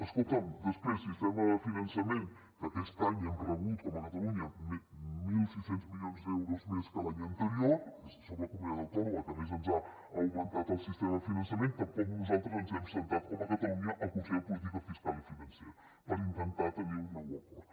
escolta’m després sistema de finançament que aquest any hem rebut com a catalunya mil sis cents milions d’euros més que l’any anterior som la comunitat autònoma que més ens ha augmentat el sistema de finançament tampoc nosaltres ens hem assegut com a catalunya al consell de política fiscal i financera per intentar tenir un nou acord